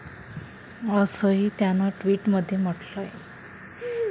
असंही त्यानं ट्विट मध्ये म्हटलंय.